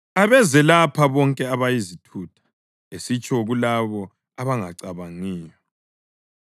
“Abeze lapha bonke abayizithutha!” Esitsho kulabo abangacabangiyo.